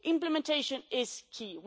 Implementation is key.